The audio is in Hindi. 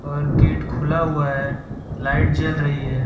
और गेट खुला हुआ है लाइट जल रही है।